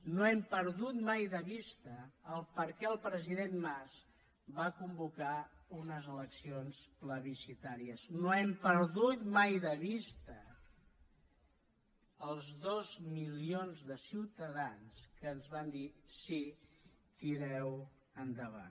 no hem perdut mai de vista per què el president mas va convocar unes eleccions plebiscitàries no hem perdut mai de vista els dos milions de ciutadans que ens van dir sí tireu endavant